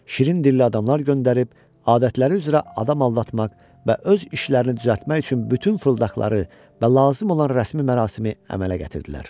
Şirin dilli adamlar göndərib, adətləri üzrə adam aldatmaq və öz işlərini düzəltmək üçün bütün fırıldaqları və lazım olan rəsmi mərasimi əmələ gətirdilər.